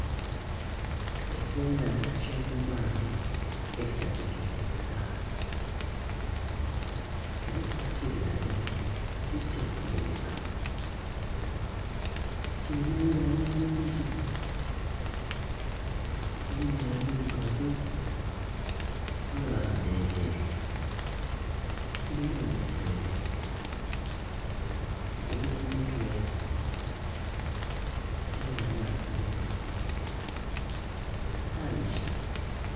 Ekyenhandha ky'omumaadhi ekitategerekeka era tiba kilya lya batyo tikitera kubonheka, kilinha eibala eilungi mulimu ebirugavu mwabamu nh'ebyeru, kilinha obusweere emberi ku mutwe kyaba nh'amagulu mangi.